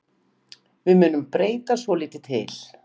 Við munum breyta svolítið til.